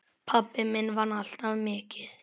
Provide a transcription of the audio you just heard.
Pabbi minn vann alltaf mikið.